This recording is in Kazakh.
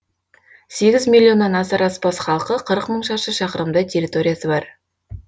сегіз миллионнан асар аспас халқы қырық мың шаршы шақырымдай территориясы бар